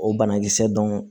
O banakisɛ dɔn